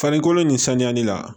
Farikolo nin sanuyani la